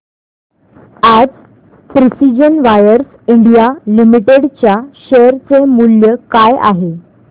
आज precision wires India limited च्या share चे मूल्य काय आहे